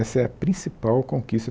Essa é a principal conquista.